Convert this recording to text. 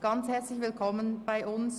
Ganz herzlich willkommen bei uns!